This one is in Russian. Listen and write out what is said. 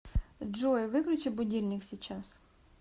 джой выключи будильник сейчас